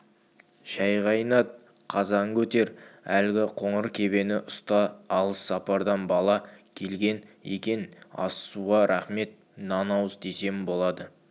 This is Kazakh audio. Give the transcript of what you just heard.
шай қайнат қазан көтер әлгі қоңыр кебені ұста алыс сапардан бала келген екен ас-суға рақмет нан ауыз тисем болады